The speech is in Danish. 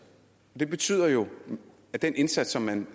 det betyder jo at den indsats som man